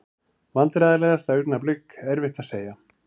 Vandræðalegasta augnablik: Erfitt að segja.